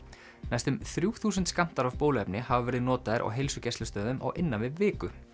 næstum þrjú þúsund skammtar af bóluefni hafa verið notaðir á heilsugæslustöðvum á innan við viku